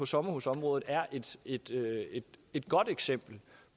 sommerhusområdet er et godt eksempel